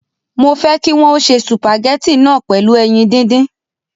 Mo fẹ́ kí wọn ó se sùpàgẹ́tì náà pẹ̀lú ẹyin díndín